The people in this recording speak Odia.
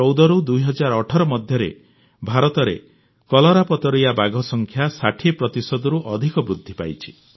2014ରୁ 2018 ମଧ୍ୟରେ ଭାରତରେ କଲରାପତରିଆ ବାଘ ସଂଖ୍ୟା 60 ପ୍ରତିଶତରୁ ଅଧିକ ବୃଦ୍ଧି ପାଇଛି